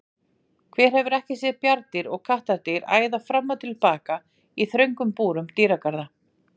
Hver hefur ekki séð bjarndýr og kattardýr æða fram og tilbaka í þröngum búrum dýragarða?